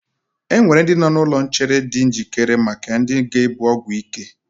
Enwere ndị nọ n'ụlọ nchere di njikere maka ndị ga-ebu ọgwụ ike